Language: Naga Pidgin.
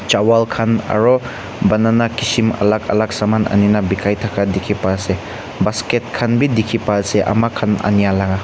chawal khan aro banana kishim alak alak saman ani na bikai thaka dikhi pai ase basket khan b dikhi pai ase ama khan ania laga.